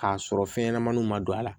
K'a sɔrɔ fɛnɲɛnamaninw ma don a la